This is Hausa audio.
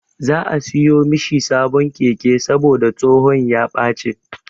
Za'a siyo mishi sabon keke saboda tsohon ya ɓaci.